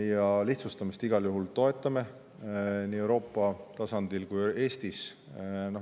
Ja lihtsustamist me igal juhul toetame, nii Euroopa tasandil kui ka Eestis.